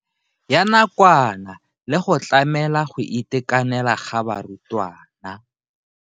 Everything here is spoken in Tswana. Ya nakwana le go tlamela go itekanela ga barutwana.